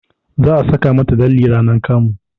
Za a saka mata lalle ranar kamu